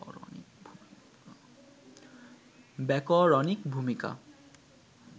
ব্যাকরণিক ভূমিকা